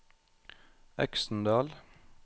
Øksendal